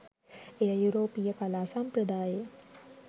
එය යුරෝපීය කලා සම්ප්‍රදායේ